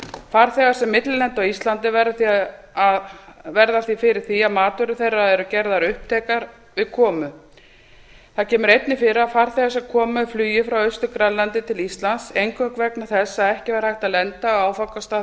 farþegar sem millilenda á íslandi verða fyrir því að matvörur þeirra eru gerðar upptækar við komu það kemur einnig fyrir að farþegar sem koma með flugi frá austur grænlandi til íslands eingöngu vegna þess að ekki var hægt að lenda á áfangastað